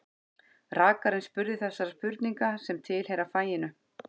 Rakarinn spurði þessara spurninga sem tilheyra faginu: